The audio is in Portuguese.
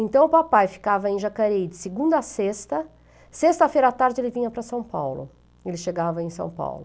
Então o papai ficava em Jacareí de segunda a sexta, sexta-feira à tarde ele vinha para São Paulo, ele chegava em São Paulo.